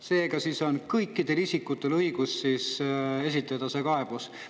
Seega on kõikidel isikutel õigus esitada see kaebus.